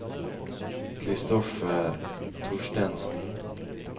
Christoffer Thorstensen